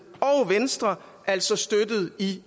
og venstre altså støttede i